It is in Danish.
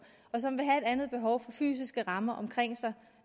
og som vil have et andet behov for fysiske rammer omkring sig